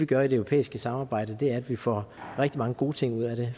gør i det europæiske samarbejde er at vi får rigtig mange gode ting ud af det